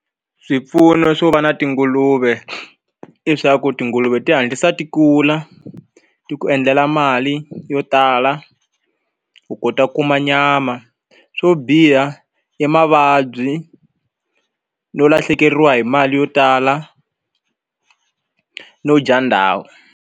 Swipfuno swo va na tinguluve i swa ku tinguluve ti hatlisa ti kula ti ku endlela mali yo tala u kota ku kuma nyama swo biha i mavabyi no lahlekeriwa hi mali yo tala no dya ndhawu.